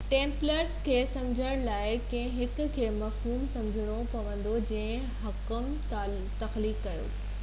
Templars کي سمجهڻ لاءِ ڪنهن هڪ کي مفهوم سمجهڻو پوندو جنهن حڪم تخليق ڪيو